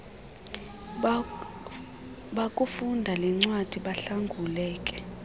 bakufunda lencwadi bahlanguleke